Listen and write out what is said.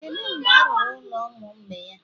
Kedu mgbe a rụrụ ụlọ ụmụ mgbei a?